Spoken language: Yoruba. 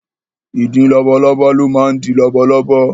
Ìdin labalábá ló máa ń di labalábá.